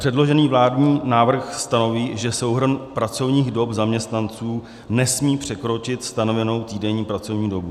Předložený vládní návrh stanoví, že souhrn pracovních dob zaměstnanců nesmí překročit stanovenou týdenní pracovní dobu.